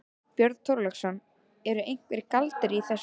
Björn Þorláksson: Eru einhverjir galdrar í þessu?